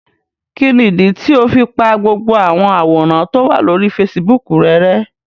Kini idi tio fi pa gbogbo awọn aworan to wa lori Fèsìbúukù rẹ rẹ̀?